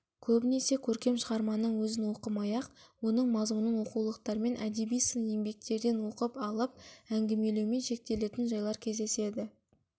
көбінесе көркем шығарманың өзін оқымай-ақ оның мазмұнын оқулықтармен әдеби сын еңбектерден оқып алып әңгімелеумен шектелетін жайлар кездеседі